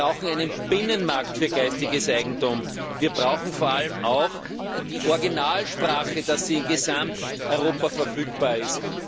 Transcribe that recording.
Wir brauchen einen Binnenmarkt für geistiges Eigentum. Wir brauchen vor allem auch, dass die Originalsprache in Gesamteuropa verfügbar ist.